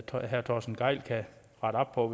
herre torsten gejl kan rette op på